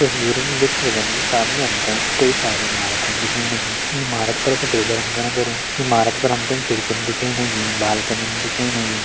तस्वीर म देख सकदन कि सामने हमतें कई सारी इमारतन दिखेण लगीं ईं इमारत पर सफ़ेदा रंगा करयूं ईं इमारत पर हमतें खिड़कीन दिखेण लगीं बालकनिन दिखेण लगीं।